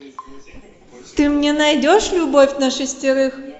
ты мне найдешь любовь на шестерых